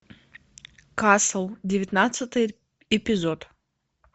касл девятнадцатый эпизод